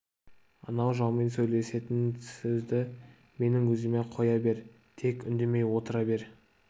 анау жаумен сөйлесетін сөзді менің өзіме қоя бер тек үндемей отыра бер